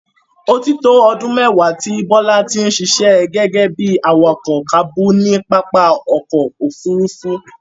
Ó ti tó ọdún mẹ́wàá tí Bola ti ń ṣiṣẹ́ gẹ́gẹ́ bí i awakọ̀ káábù ní pápá ọkọ̀-òfurufú.